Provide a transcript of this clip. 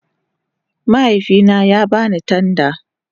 Mahaifina ya ba ni tanda